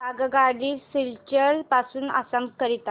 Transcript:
आगगाडी सिलचर पासून आसाम करीता